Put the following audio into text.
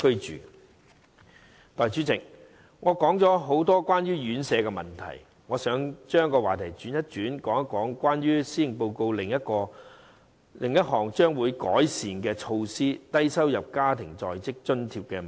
代理主席，我談了很多有關院舍的問題，現在我想轉轉話題，談談施政報告提出將會改善的另一項措施——低收入在職家庭津貼計劃。